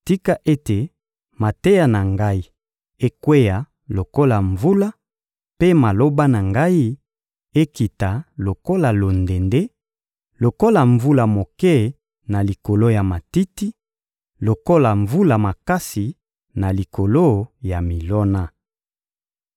Tika ete mateya na ngai ekweya lokola mvula, mpe maloba na ngai ekita lokola londende, lokola mvula moke na likolo ya matiti, lokola mvula makasi na likolo ya milona!